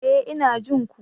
E! Ina jin ku.